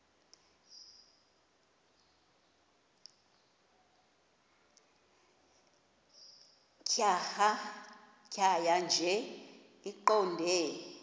tjhaya nje iqondee